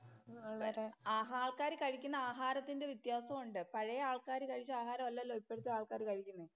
ആൾക്കാര് കഴിക്കുന്ന ആഹാരത്തിന്‍റെ വ്യത്യാസവും ഒണ്ട്. പഴയ ആള്‍ക്കാര് കഴിച്ച ആഹാരമല്ലല്ലോ ഇപ്പോഴത്തെ ആള്‍ക്കാര് കഴിക്കുന്നത്.